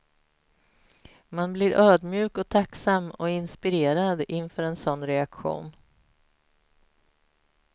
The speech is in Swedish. Man blir ödmjuk och tacksam och inspirerad inför en sådan reaktion.